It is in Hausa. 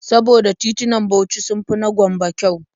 Saboda titunan Bauchi sun fi na Gombe kyau.